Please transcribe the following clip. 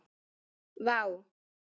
Vá